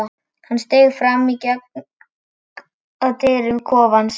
Hann steig fram og gekk að dyrum kofans.